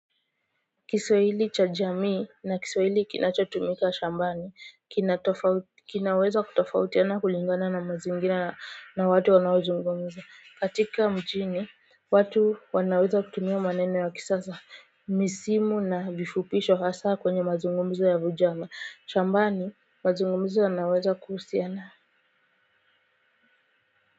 Kiswahili cha jamii na Kiswahili kinachotumika shambani kina tofauti kinaweza kutofautiana kulingana na mazingira na watu wanaozungumza katika mjini watu wanaweza kutumia maneno ya kisasa misimu na vifupisho hasa kwenye mazungumzo ya vijana shambani mazungumzo yanaweza kuhusiana.